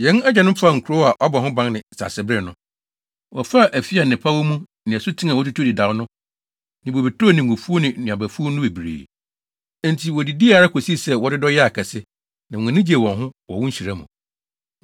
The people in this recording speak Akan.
Yɛn agyanom faa nkurow a wɔabɔ ho ban ne nsasebere no. Wɔfaa afi a nnepa wɔ mu ne asuten a wɔatutu dedaw no ne bobeturo ne ngofuw ne nnuabafuw no bebree. Enti wodidii ara kosii sɛ wɔdodɔ yɛɛ akɛse, na wɔn ani gyee wɔn ho wɔ wo nhyira mu.